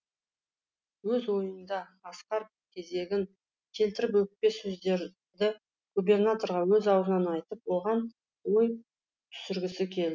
өз ойында асқар кезегін келтіріп өкпе сөздерді губернаторға өз аузынан айтып оған ой түсіргісі кел